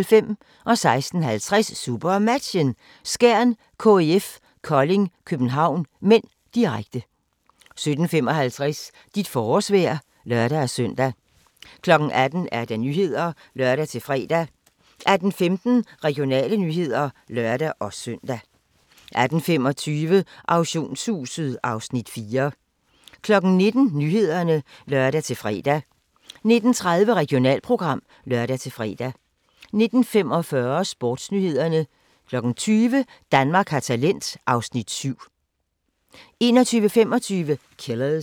16:50: SuperMatchen: Skjern-KIF Kolding København (m), direkte 17:55: Dit forårsvejr (lør-søn) 18:00: Nyhederne (lør-fre) 18:15: Regionale nyheder (lør-søn) 18:25: Auktionshuset (Afs. 4) 19:00: Nyhederne (lør-fre) 19:30: Regionalprogram (lør-fre) 19:45: SportsNyhederne 20:00: Danmark har talent (Afs. 7) 21:25: Killers